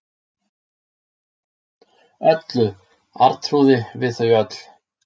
Öllu, Arnþrúði, við þau öll.